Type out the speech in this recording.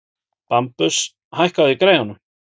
Bambus, hækkaðu í græjunum.